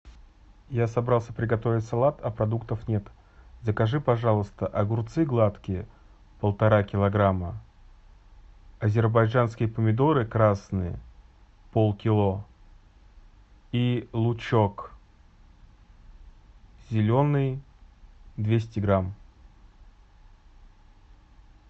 я собрался приготовить салат а продуктов нет закажи пожалуйста огурцы гладкие полтора килограмма азербайджанские помидоры красные полкило и лучек зеленый двести грамм